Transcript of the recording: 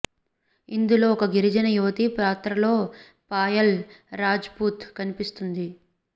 ఇందులో ఒక గిరిజన యువతి పాత్రలో పాయల్ రాజ్ పుత్ కనిపిస్తుంది